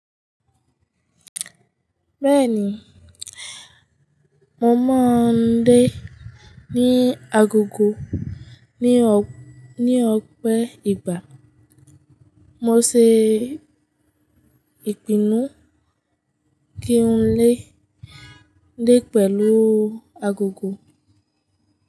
Bẹ́ẹ̀ni, mo máa ń dé ní agogo ní ọ̀pẹ ìgbà. Mo ṣe ìpinnu kí n lé dé pẹ̀lú agogo.